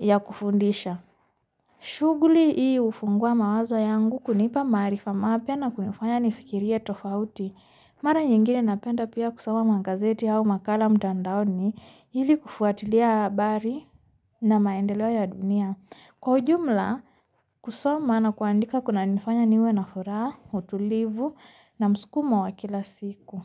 ya kufundisha. Shuguli ii ufungua mawazo yangu kunipa maarifa mapya na kunifanya nifikirie tofauti. Mara nyingine napenda pia kusoma magazeti au makala mtandaoni ili kufuatilia habari na maendeleo ya dunia. Kwa ujumla kusoma na kuandika kunanifanya niwe na furaha, utulivu na msukumo wa kila siku.